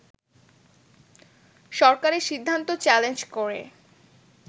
সরকারের সিদ্ধান্ত চ্যালেঞ্জ করে